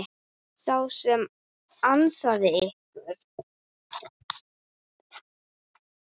Sá sem ansaði ykkur.